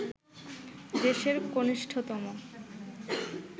দেশের কণিষ্ঠতম